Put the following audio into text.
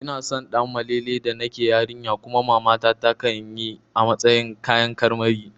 Ina son Ɗanmalele da nake yarinya kuma mamata takan yi a matsayin kayan karmari